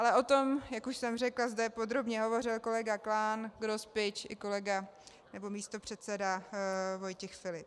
Ale o tom, jak už jsem řekla, zde podrobně hovořil kolega Klán, Grospič i kolega, nebo místopředseda Vojtěch Filip.